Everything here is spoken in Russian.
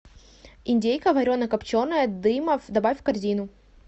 индейка варено копченая дымов добавь в корзину